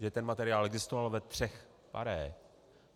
Že ten materiál existoval ve třech pare.